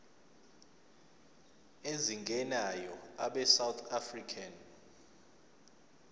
ezingenayo abesouth african